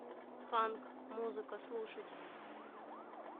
ханк музыка слушать